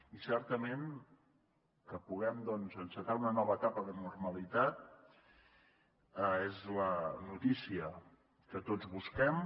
i certament que puguem doncs encetar una nova etapa de normalitat és la notícia que tots busquem